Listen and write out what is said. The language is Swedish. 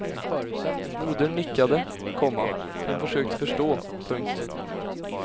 Modern nickade, komma hon försökte förstå. punkt